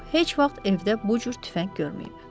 O heç vaxt evdə bu cür tüfəng görməyib.